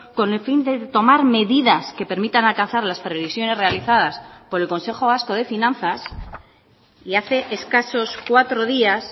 con el fin de tomar medidas que permitan alcanzar las previsiones realizadas por el consejo vasco de finanzas y hace escasos cuatro días